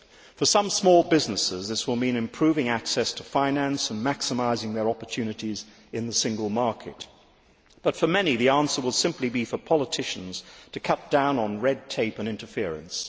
For some small businesses this will mean improving access to finance and maximising their opportunities in the single market, but for many the answer will simply be for politicians to cut down on red tape and interference.